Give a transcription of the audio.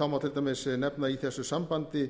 það má til dæmis nefna í þessu sambandi